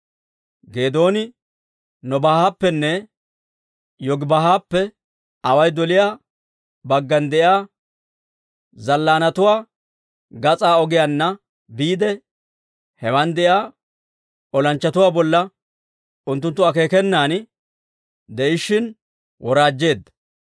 Geedooni Nobaahappenne Yogibaahappe away doliyaa baggan de'iyaa zallaanatuwaa gas'aa ogiyaanna biide, hewan de'iyaa olanchchatuwaa bolla unttunttu akeekenan de'ishshin woraajjeedda;